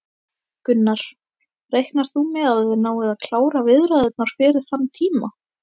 Gunnar: Reiknar þú með að þið náið að klára viðræðurnar fyrir þann tíma?